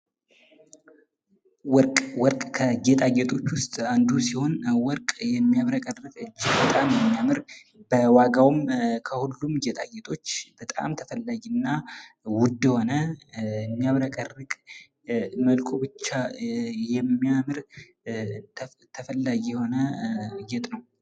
ወርቅ፡- ከጌጣጌጦች አይነቶች ውስጥ አንዱ ሲሆን ፤ ወርቅ የሚያብረቀርቅ ፥ እጅግ በጣም የሚያምር፥ ከሌሎች ጌጣጌጦች የበለጠ በጣም ውድ የሆነ የሚያምር ተፈላጊ የሆነ ጌጣጌጥ ነው።